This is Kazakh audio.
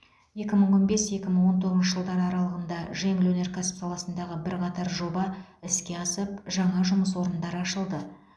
екі мың он бес екі мың он тоғызыншы жылдар аралығында жеңіл өнеркәсіп саласындағы бірқатар жоба іске асып жаңа жұмыс орындары ашылды